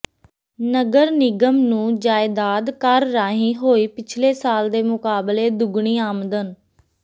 ਨਗਰ ਨਿਗਮ ਨੂੰ ਜਾਇਦਾਦ ਕਰ ਰਾਹੀਂ ਹੋਈ ਪਿਛਲੇ ਸਾਲ ਦੇ ਮੁਕਾਬਲੇ ਦੁੱਗਣੀ ਆਮਦਨ